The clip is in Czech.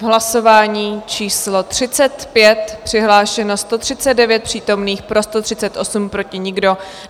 V hlasování číslo 35 přihlášeno 139 přítomných, pro 138, proti nikdo.